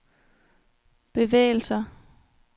bevægelser